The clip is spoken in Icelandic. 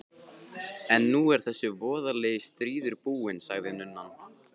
En nú er þessi voðalegi stríður búinn, sagði nunnan.